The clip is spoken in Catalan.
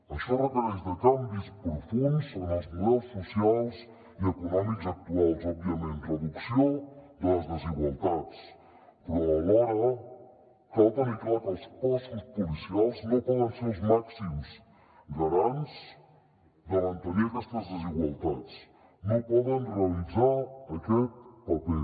això requereix canvis profunds en els models socials i econòmics actuals òbviament reducció de les desigualtats però alhora cal tenir clar que els cossos policials no poden ser els màxims garants de mantenir aquestes desigualtats no poden realitzar aquest paper